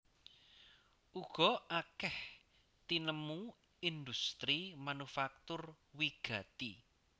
Uga akèh tinemu industri manufaktur wigati